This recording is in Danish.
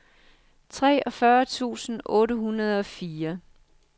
treogfyrre tusind otte hundrede og fire